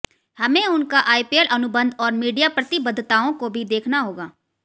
हमें उनका आईपीएल अनुबंध और मीडिया प्रतिबद्धताओं को भी देखना होगा